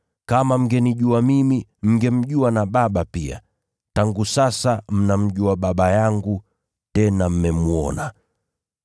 Kama mngenijua mimi, mngemjua na Baba pia. Tangu sasa, mnamjua Baba yangu, tena mmemwona.”